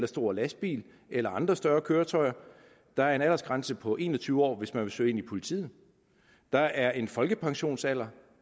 stor lastbil eller andre større køretøjer der er en aldersgrænse på en og tyve år hvis man vil søge ind i politiet der er en folkepensionsalder